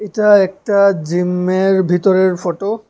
এটা একটা জিমের ভিতরের ফোটো ।